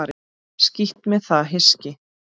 Skítt með það hyski.